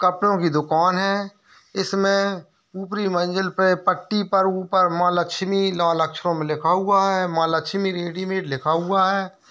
कपड़ो की दुकान है| इसमें ऊपरी मंजिल पे पट्टी पे ऊपर माँ लक्ष्मी लाल अक्षरों में लिखा हुआ है माँ लक्ष्मी रेडीमेड़ लिखा हुआ है।